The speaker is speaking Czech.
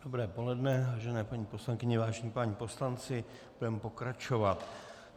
Dobré poledne, vážené paní poslankyně, vážení páni poslanci, budeme pokračovat.